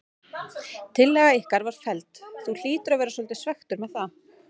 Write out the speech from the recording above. Tillaga ykkar var felld, þú hlýtur að vera svolítið svekktur með það?